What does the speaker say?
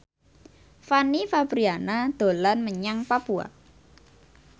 Fanny Fabriana dolan menyang Papua